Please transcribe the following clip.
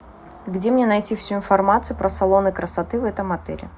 где мне найти всю информацию про салоны красоты в этом отеле